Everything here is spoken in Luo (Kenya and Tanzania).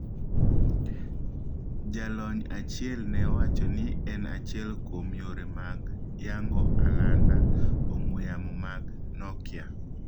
Jalony achiel ne owacho ni en achiel kuom yore mag yango alanda ong'wee yamo mag Nokia.